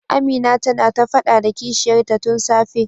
Amina tana ta fada da kishiyar ta tun safe.